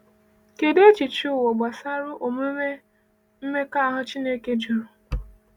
Kedụ echiche ụwa gbasara omume mmekọahụ Chineke jụrụ?